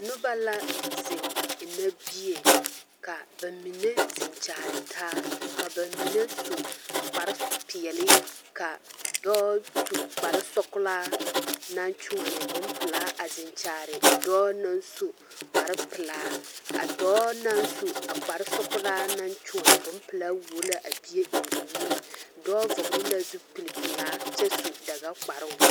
Noba la zeŋ ennɛ bie ka ba mine zeŋ kyaare taa ka ba mine su kparpeɛle ka dɔɔ su kparsɔɡelaa naŋ kyoɔne bompelaa a zeŋ kyaare dɔɔ na su kparpelaa a dɔɔ na su a kparsɔɡelaa na kyoɔne bompelaa wuo la a bie eŋ o nui dɔɔ vɔɡeli la zupilipelaa kyɛ su daɡakparoo.